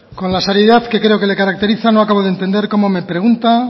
con la seriedad que creo que le caracteriza no acabo de entender cómo me pregunta